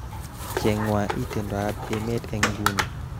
Chengwa itondoab emet eng nguni